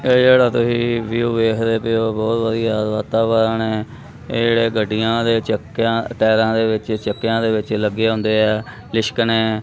ਏਹ ਜੇਹੜਾ ਤੁਸੀ ਵਿਊ ਵੇਖਦੇ ਪਏ ਹੋ ਬੋਹੁਤ ਵਧੀਆ ਵਾਤਾਵਰਣ ਹੈ ਏਹ ਜੇਹੜੇ ਗੱਡੀਆਂ ਦੇ ਚੱਕੇਆਂ ਟਾਇਰਾਂ ਦੇ ਵਿੱਚ ਚੱਕੇਆਂ ਦੇ ਵਿੱਚ ਲੱਗੇ ਹੈਂ ਲਿਸ਼ਕਣੇ।